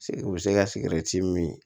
U bɛ se ka min